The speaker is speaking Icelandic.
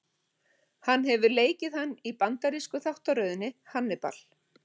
Hann hefur leikið hann í bandarísku þáttaröðinni Hannibal.